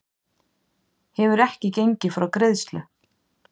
Hefur ekki gengið frá greiðslu